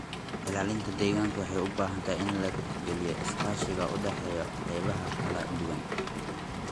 Ilaalinta deegaanka waxay u baahan tahay in la tixgeliyo iskaashiga u dhaxeeya qaybaha kala duwan.